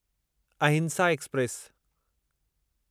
अहिंसा एक्सप्रेस